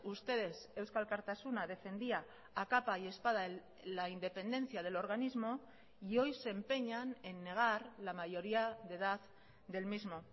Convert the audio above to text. ustedes eusko alkartasuna defendía a capa y espada la independencia del organismo y hoy se empeñan en negar la mayoría de edad del mismo